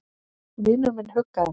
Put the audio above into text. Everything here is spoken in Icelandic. Vinur minn huggaði mig.